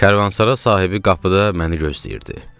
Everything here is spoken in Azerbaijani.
Karvansara sahibi qapıda məni gözləyirdi.